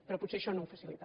però potser això no ho facilita